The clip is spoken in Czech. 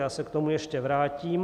Já se k tomu ještě vrátím.